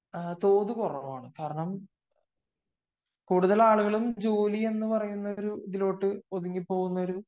തോത് കുറവാണു കാരണം കൂടുതൽ ആളുകളും ജോലി എന്ന് പറയുന്ന ഒരു ഇതിലോട്ട് ഒതുങ്ങി പോവുന്ന ഒരു